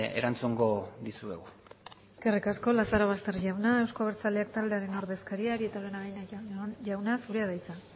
erantzungo dizuegu eskerrik asko lazarobaster jauna euzko abertzaleak taldearen ordezkaria arieta araunabeña jauna zurea da hitza